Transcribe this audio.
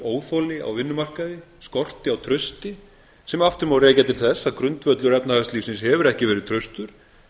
óþoli á vinnumarkaði skorti á trausti sem aftur má rekja til þess að grundvöllur efnahagslífsins hefur ekki verið traustur